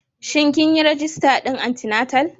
Shin kin yi rajista din anti-natal?